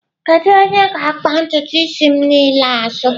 Kedu onye ga-akpa ntutu isi m niile azụ?